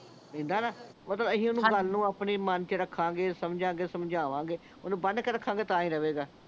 ਐਦਾਂ ਨਾ ਮਤਲਬ ਅਸੀਂ ਹਾਂਜੀ ਓਹਨੂੰ ਗੱਲ ਨੂੰ ਮਨ ਚ ਰੱਖਾਂਗੇ ਸਮਝਾਂਗੇ ਸਮਝਾਵਾਂਗੇ ਓਹਨੂੰ ਬਨ੍ਹ ਕੇ ਰੱਖਾਂਗੇ ਤਾਂ ਹੀ ਰਹਵੇਗਾ